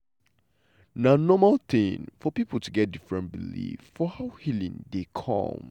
na normal tin for pipo to get different believe for how healing dey come.